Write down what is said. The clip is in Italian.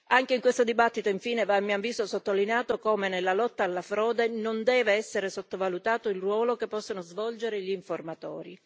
Anche in questa discussione, infine, va a mio avviso sottolineato come nella lotta alla frode non debba essere sottovalutato il ruolo che possono svolgere gli informatori.